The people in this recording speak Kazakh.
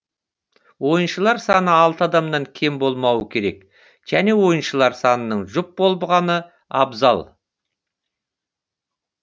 ойыншылар саны алты адамнан кем болмауы керек және ойыншылар санының жұп болғаны абзал